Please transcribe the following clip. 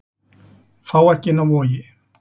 Fá ekki inni á Vogi